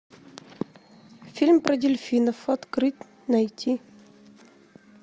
фильм про дельфинов открыть найти